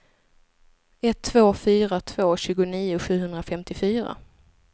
ett två fyra två tjugonio sjuhundrafemtiofyra